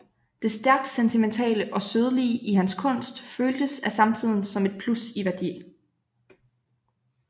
Det stærkt sentimentale og sødlige i hans kunst føltes af samtiden som et plus i værdi